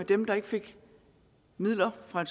dem der ikke fik midler fra